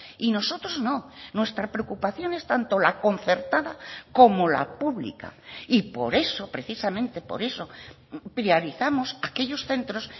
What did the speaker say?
y nosotros no nuestra preocupación es tanto la concertada como la pública y por eso precisamente por eso priorizamos aquellos centros